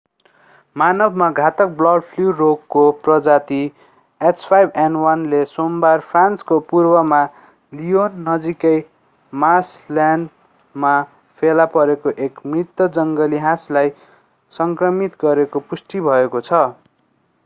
मानवमा घातक bird flu रोगको प्रजाति h5n1 ले सोमबार फ्रान्सको पूर्वमा लियोन नजिकै मार्सलल्यान्डमा फेला परेको एक मृत जङ्गली हाँसलाई संक्रमित गरेको पुष्टि भएको छ।